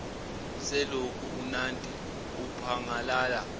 selokhu unandi aphangalala